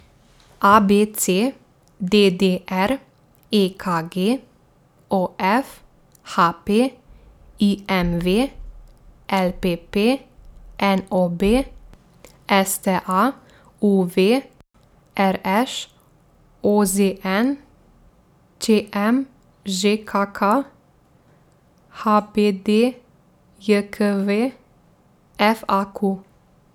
A B C; D D R; E K G; O F; H P; I M V; L P P; N O B; S T A; U V; R Š; O Z N; Č M; Ž K K; H B D J K V; F A Q.